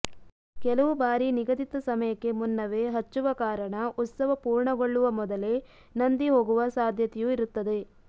ಕೆಲವು ಬಾರಿ ನಿಗದಿತ ಸಮಯಕ್ಕೆ ಮುನ್ನವೇ ಹಚ್ಚುವ ಕಾರಣ ಉತ್ಸವ ಪೂರ್ಣಗೊಳ್ಳುವ ಮೊದಲೇ ನಂದಿ ಹೋಗುವ ಸಾಧ್ಯತೆಯೂ ಇರುತ್ತದೆ